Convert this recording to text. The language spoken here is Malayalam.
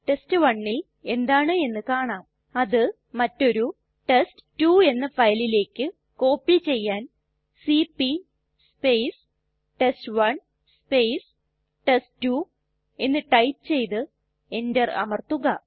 test1ൽ എന്താണ് എന്ന് കാണാം അത് മറ്റൊരു ടെസ്റ്റ് 2 എന്ന ഫയലിലേക്ക് കോപ്പി ചെയ്യാൻ സിപി ടെസ്റ്റ്1 ടെസ്റ്റ്2 എന്ന് ടൈപ്പ് ചെയ്തു enter അമർത്തുക